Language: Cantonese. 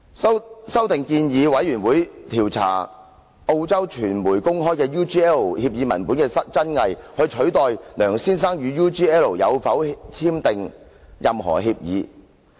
這項修訂建議專責委員會調查"澳洲媒體公開的 UGL 協議文本"的真偽，以取代"梁先生與 UGL 有否簽訂"任何協議。